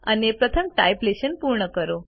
અને પ્રથમ type lesson પૂર્ણ કરો